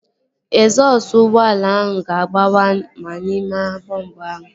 Egzọsụ ụgbọala ahụ ga-agbawa ma ịma elu bọmbu ahụ